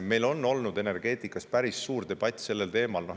Meil on olnud energeetika üle päris suur debatt sellel teemal.